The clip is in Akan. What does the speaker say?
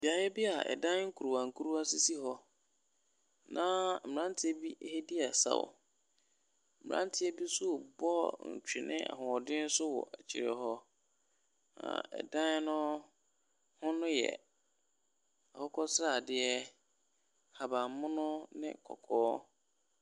Beaeɛ bi a dan nkuruwa nkuruwa sisi hɔ, na mmeranteɛ bi ɛredi asa wɔ, mmeranteɛ bi nso rebɔ atwene ahoɔden so wwɔ akyire hɔ. Na dan no ho no yɛ akokɔsradeɛ, ahabanmono ne kɔkɔɔ.